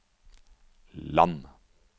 land